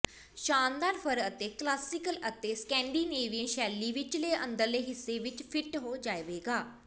ਸ਼ਾਨਦਾਰ ਫਰ ਕਲਾਸੀਕਲ ਅਤੇ ਸਕੈਂਡੀਨੇਵੀਅਨ ਸ਼ੈਲੀ ਵਿਚਲੇ ਅੰਦਰਲੇ ਹਿੱਸੇ ਵਿਚ ਫਿੱਟ ਹੋ ਜਾਵੇਗਾ